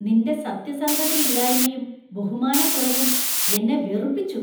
നിന്‍റെ സത്യസന്ധതയില്ലായ്മയും ബഹുമാനക്കുറവും എന്നെ വെറുപ്പിച്ചു.